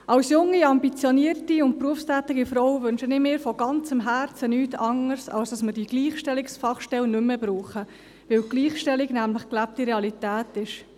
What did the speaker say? Als junge, ambitionierte und berufstätige Frau wünsche ich mir von ganzem Herzen nichts anderes, als dass wir die Gleichstellungsfachstelle nicht mehr brauchen, weil Gleichstellung nämlich gelebte Realität ist.